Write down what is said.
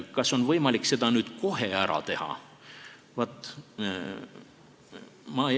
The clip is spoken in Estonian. Kas on võimalik seda kohe ära teha?